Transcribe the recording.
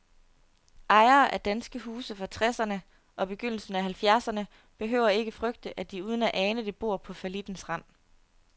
Ejere af danske huse fra treserne og begyndelsen af halvfjerdserne behøver ikke frygte, at de uden at ane det bor på fallittens rand.